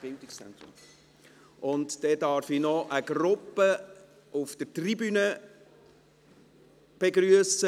Dann darf ich noch eine Gruppe auf der Tribüne begrüssen: